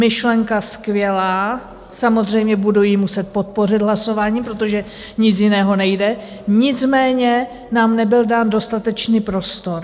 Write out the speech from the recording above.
Myšlenka skvělá, samozřejmě budu ji muset podpořit hlasováním, protože nic jiného nejde, nicméně nám nebyl dán dostatečný prostor.